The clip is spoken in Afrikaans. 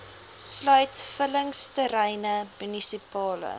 sluit vullingsterreine munisipale